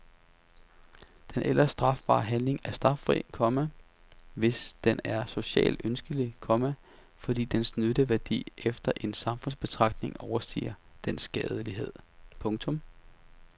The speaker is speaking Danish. Den ellers strafbare handling er straffri, komma hvis den er socialt ønskelig, komma fordi dens nytteværdi efter en samfundsbetragtning overstiger dens skadelighed. punktum